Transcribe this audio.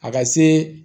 A ka se